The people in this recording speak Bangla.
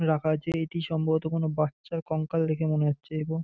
রাখা আছে এটি সম্ভবত কোন বাচ্চার কঙ্কাল দেখে মনে হচ্ছে এবং--